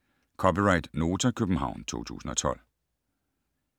(c) Nota, København 2012